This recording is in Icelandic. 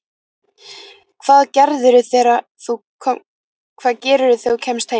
Hvað gerirðu þegar þú kemst heim?